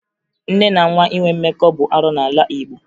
Nne na nwa inwe mmekọ bụ arụ n'ala Igbo